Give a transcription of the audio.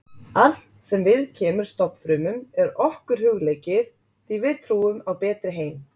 Allt sem viðkemur stofnfrumum er okkur hugleikið því við trúum á betri heim.